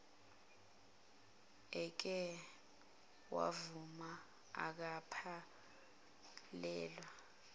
eke wavuma angaphelelwa